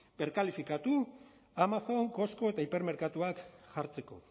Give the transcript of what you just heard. berkalifikatu amazon costco eta hipermerkatua jartzeko